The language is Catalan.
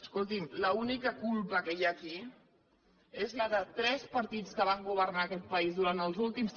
escolti’m l’única culpa que hi ha aquí és la de tres partits que van governar aquest país durant els últims